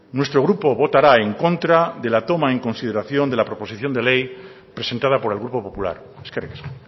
nuestro grupo votará en contra de la toma en consideración de la proposición de ley presentada por el grupo popular eskerrik asko